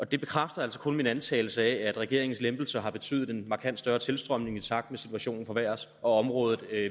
det bekræfter altså kun min antagelse nemlig at regeringens lempelser har betydet en markant større tilstrømning i takt med at situationen forværres og at området